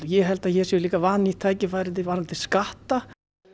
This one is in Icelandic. ég sé líka vannýtt tækifæri varðandi skatta